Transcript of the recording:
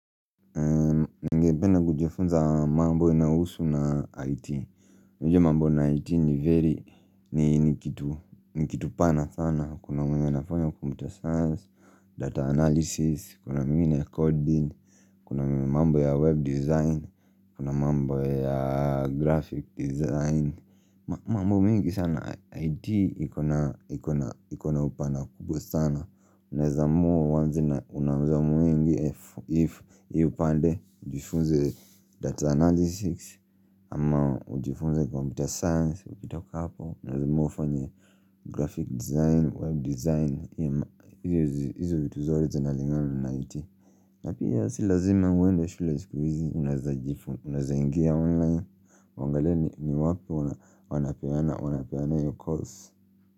Pena kujufunza mambo inawusu na IT Mujo mambo na IT ni very ni kitu pana sana Kuna mwengi nafanya computer science, data analysis, kuna mwengine coding Kuna mambo ya web design, kuna mambo ya graphic design mambo mingi sana IT ikona upana kubwa sana unazamuwa uwanze na unazamuwa ingi if you pande, ujifunze data analysis, ama ujifunze computer science, ukitoka hapo, unazamuwa ufanye graphic design, web design, hizu vituzote zinalingana na IT. Napi ya si lazima uende shule jikivizi unazamuwa uingie online, wangalie ni wapi wanapeana iyo course.